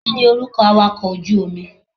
Kíni orúkọ awàkọ̀ ojú omi?